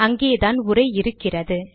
அங்கேதான் உரை இருக்கிறது